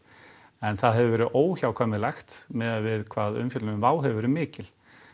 en það hefur verið óhjákvæmilegt miðað við hvað umfjöllun um Wow hefur verið mikil